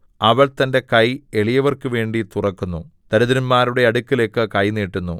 അവൾ തന്റെ കൈ എളിയവർക്കുവേണ്ടി തുറക്കുന്നു ദരിദ്രന്മാരുടെ അടുക്കലേക്ക് കൈ നീട്ടുന്നു